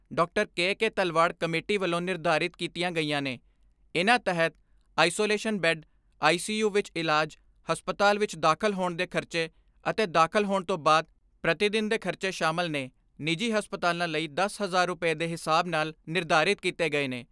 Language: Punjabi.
ਕੇ ਕੇ ਤਲਵਾੜ ਕਮੇਟੀ ਵੱਲੋਂ ਨਿਰਧਾਰਿਤ ਕੀਤੀਆਂ ਗਈਆਂ ਨੇ ਇਨ੍ਹਾਂ ਤਹਿਤ isolation bed, I C U ਵਿਚ ਇਲਾਜ, ਹਸਪਤਾਲ ਵਿਚ ਦਾਖ਼ਲ ਹੋਣ ਦੇ ਖਰਚੇ ਅਤੇ ਦਾਖਲ ਹੋਣ ਤੋਂ ਬਾਅਦ ਪ੍ਰਤੀਦਿਨ ਦੇ ਖਰਚੇ ਸ਼ਾਮਲ ਨੇ ਨਿੱਜੀ ਹਸਪਤਾਲਾਂ ਲਈ ਦਸ ਹਜ਼ਾਰ ਰੁਪੈ ਦੇ ਹਿਸਾਬ ਨਾਲ ਨਿਰਧਾਰਿਤ ਕੀਤੇ ਗਏ ਨੇ, ਜਦਕਿ ਮਾਨਤਾ ਪ੍ਰਾਪਤ ਹਸਪਤਾਲਾਂ ਲਈ ਨੌਂ ਹਜ਼ਾਰ ਰੁਪੈ ਅਤੇ ਗ਼ੈਰ